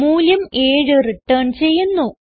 മൂല്യം 7 റിട്ടേൺ ചെയ്യുന്നു